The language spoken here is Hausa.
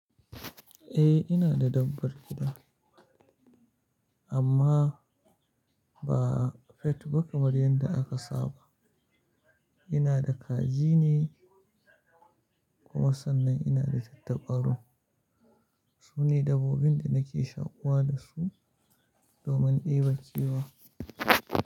Eh, ina da dabbar gida amma ba pet ba kamar yadda aka saba. Ina da kaji ne kuma sannan ina da tattabaru. Su ne dabbobin da nake shaƙuwa da su domin ɗeba kewa.